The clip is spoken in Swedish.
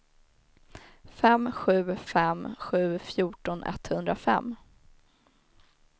fem sju fem sju fjorton etthundrafem